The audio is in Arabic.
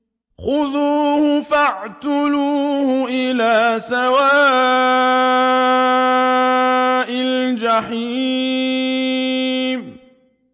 خُذُوهُ فَاعْتِلُوهُ إِلَىٰ سَوَاءِ الْجَحِيمِ